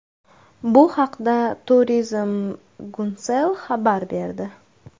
Bu haqda Turizm Guncel xabar berdi .